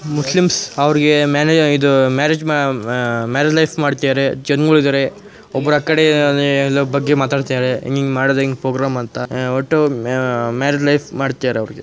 Muslims ಅವ್ರಿಗೆ manage ಇದು marriage ಮಾ ಆಹ್ ಆಹ್ ಮ್ಯಾರೇಜ್ ಲೈಫ್ ಮಾಡ್ತಿದ್ದಾರೆ ಒಬ್ಬರು ಆಕಡೆ ಆಹ್ ಆಹ್ ಆಹ್ ಬಗ್ಗೆ ಮಾತಾಡ್ತಿದ್ದಾರೆ ಹೆಂಗ್ ಹೆಂಗ್ ಮಾಡೋದ್ ಹೆಂಗ್ ಪ್ರೋಗ್ರಾಮ್ ಅಂತ ಆಹ್ ಒಟ್ಟು ಮ್ಯ್ ಮ್ಯ್ ಮ್ಯಾರೇಜ್ ಲೈಫ್ ಮಾಡ್ತಿದ್ದಾರೆ ಅವ್ರಿಗೆ.